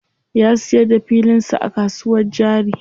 Ya siyar da filin sa a kasuwar jari.